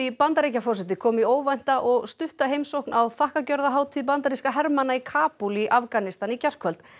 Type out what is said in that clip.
Bandaríkjaforseti kom í óvænta og stutta heimsókn á bandarískra hermanna í Kabúl í Afganistan í gærkvöld